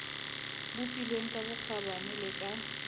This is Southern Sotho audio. bopilweng ka bokgabane le ka